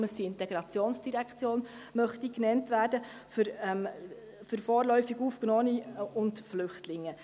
Das ist mit ein Grund, weshalb sie Integrationsdirektion genannt werden möchte.